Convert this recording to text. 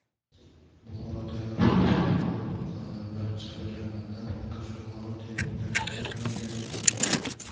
Buxorodagi avtobusda halok bo‘lganlar va jabrlanganlar makkajo‘xori terimiga otlangan.